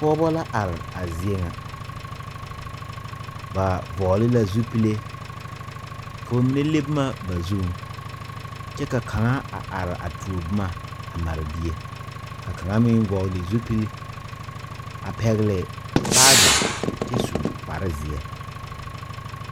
Pɔgba la arẽ a zeɛ nga ba vɔgle la zupili ka ba mene le buma ba zung kye ka kanga a arẽ a tuo buma a mare bie ka kanga meng vɔgli zupile a pɛgli baagi kye su kpare zie.